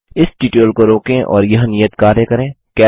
इस ट्यूटोरियल को रोकें और यह नियत कार्य करें